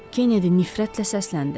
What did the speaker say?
Kenedi nifrətlə səsləndi.